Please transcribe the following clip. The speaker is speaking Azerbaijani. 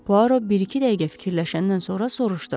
Poirot bir-iki dəqiqə fikirləşəndən sonra soruşdu: